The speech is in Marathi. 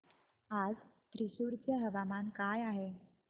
आज थ्रिसुर चे हवामान काय आहे